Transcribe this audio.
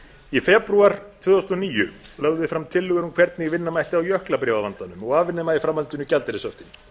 í febrúar tvö þúsund og níu lögðum við fram tillögur um hvernig vinna mætti á jöklabréfavandanum og afnema í framhaldinu gjaldeyrishöftin